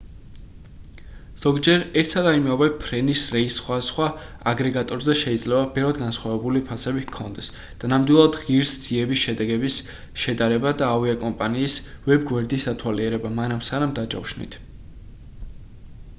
ზოგჯერ ერთსა და იმავე ფრენის რეისს სხვადასხვა აგრეგატორზე შეიძლება ბევრად განსხვავებული ფასები ჰქონდეს და ნამდვილად ღირს ძიების შედეგების შედარება და ავიაკომპანიის ვებ-გვერდის დათვალიერება მანამ სანამ დაჯავშნით